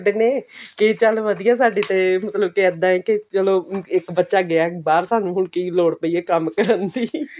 ਫਿਰਦੇ ਨੇ ਕਿ ਚੱਲ ਵਧੀਆ ਸਾਡੀ ਏ ਮਤਲਬ ਕਿ ਇੱਦਾਂ ਕਿ ਚਲੋ ਇੱਕ ਬੱਚਾ ਗਿਆ ਬਾਹਰ ਸਾਨੂੰ ਹੁਣ ਕੀ ਲੋੜ ਪਈ ਆ ਕੰਮ ਕਰਨ ਦੀ